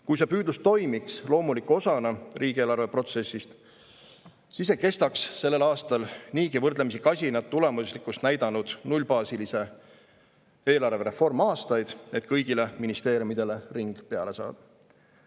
Kui see püüdlus toimiks loomuliku osana riigieelarveprotsessist, siis ei kestaks sellel aastal niigi võrdlemisi kasinat tulemuslikkust näidanud nullbaasilise eelarve reform aastaid, et kõigile ministeeriumidele ring peale saada.